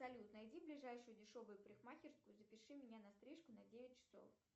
салют найди ближайшую дешевую парикмахерскую и запиши меня на стрижку на девять часов